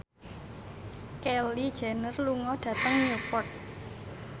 Kylie Jenner lunga dhateng Newport